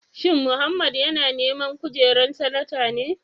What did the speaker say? Shin Mohammed yana neman kujerar Sanata ne?